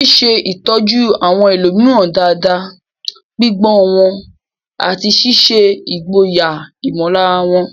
Ṣíṣe ìtọ́jú àwọn ẹlòmíràn dáadáa, gbígbọ́ wọn, àti ṣíṣe ìgboyà ìmọ̀lára wọn.